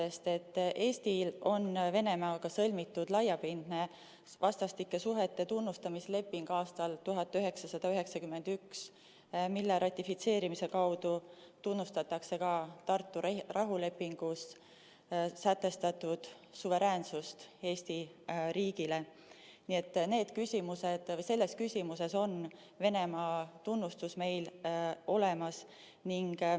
Eestil on 1991. aastal Venemaaga sõlmitud laiapindne vastastikuste suhete tunnustamise leping, mille ratifitseerimise kaudu tunnustatakse ka Tartu rahulepingus sätestatud suveräänsust, nii et selles küsimuses on Venemaa tunnustus meil olemas.